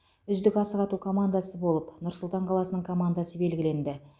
үздік асық ату командасы болып нұр сұлтан қаласының командасы белгіленді